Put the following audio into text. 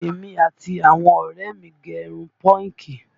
Èmi àti àwọn ọ̀rẹ́ ẹ̀ mi gẹ̀ irun pọ́ǹgì